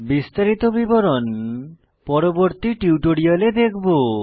বিস্তারিত বিবরণ পরবর্তী টিউটোরিয়ালে দেখব